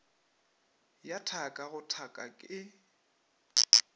ya thaka go thaka e